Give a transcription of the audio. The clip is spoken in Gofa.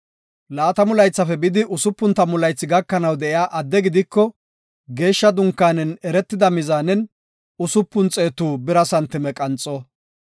Laatamu laythafe bidi usupun tammu laythi gakanaw de7iya adde gidiko geeshsha dunkaanen eretida mizaanen usupun xeetu bira santime qanxo.